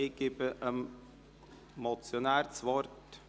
Ich gebe dem Motionär das Wort.